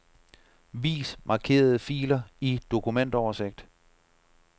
Vis markerede filer i dokumentoversigt.